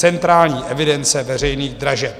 Centrální evidence veřejných dražeb.